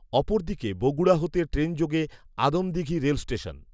অপরদিকে বগুড়া হতে ট্রেনযোগে আদমদিঘী রেল স্টেশন